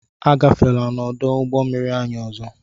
Agafela n'ọdụ ụgbọmmiri anyị ọzọ!